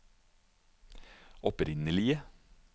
opprinnelige